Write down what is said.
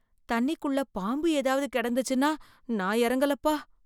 தண்ணிக்குள்ள பாம்பு ஏதாவது கிடந்துச்சுன்னா, நான் இறங்கலப்பா.